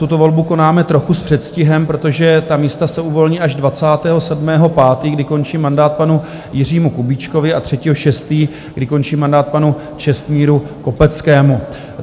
Tuto volbu konáme trochu s předstihem, protože ta místa se uvolní až 27. 5., kdy končí mandát panu Jiřímu Kubíčkovi, a 3. 6., kdy končí mandát panu Čestmíru Kopeckému.